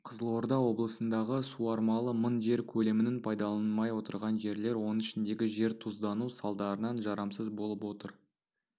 қызылорда облысындағы суармалы мың жер көлемінің пайдаланылмай отырған жерлер оның ішіндегі жер тұздану салдарынан жарамсыз болып отыр